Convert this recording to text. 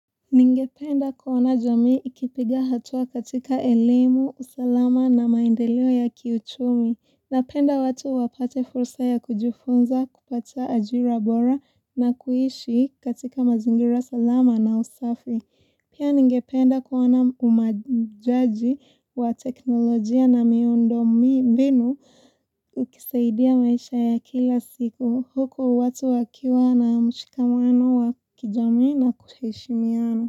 Ningependa kuona jamii ikipiga hatua katika elemu, usalama na maendeleo ya kiuchumi, napenda watu wapate fursa ya kujifunza kupata ajira bora na kuishi katika mazingira salama na usafi. Pia ningependa kuona umajaji wa teknolojia na miondo mbinu ukisaidia maisha ya kila siku huku watu wakiwa na mshikamano wa kijamii na kuheshimiano.